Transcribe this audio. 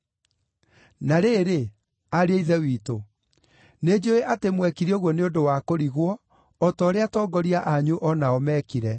“Na rĩrĩ, ariũ a Ithe witũ, nĩnjũũĩ atĩ mwekire ũguo nĩ ũndũ wa kũrigwo, o ta ũrĩa atongoria anyu o nao meekire.